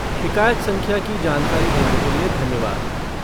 शिकायत संख्या की जानकारी देने के लिए धन्यवाद।